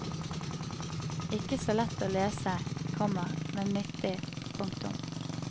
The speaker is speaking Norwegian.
Ikke så lett å lese, komma men nyttig. punktum